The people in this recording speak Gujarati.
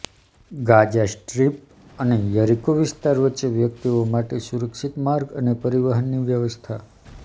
ગાઝા સ્ટ્રિપ અને યરીકો વિસ્તાર વચ્ચે વ્યક્તિઓ માટે સુરક્ષિત માર્ગ અને પરિવહનની વ્યવસ્થા